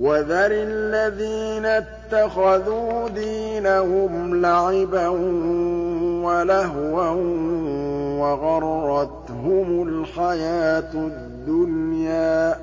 وَذَرِ الَّذِينَ اتَّخَذُوا دِينَهُمْ لَعِبًا وَلَهْوًا وَغَرَّتْهُمُ الْحَيَاةُ الدُّنْيَا ۚ